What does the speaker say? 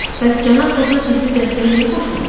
Bəs cənab Kotar bizim dəstəyə niyə qoşulmur?